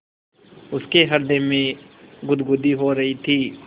उसके हृदय में गुदगुदी हो रही थी